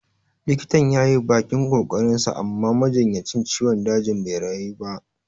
Likitan yayi bakin ƙoƙarin sa amma majinyacin ciwon dajin bai rayu ba